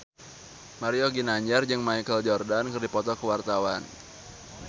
Mario Ginanjar jeung Michael Jordan keur dipoto ku wartawan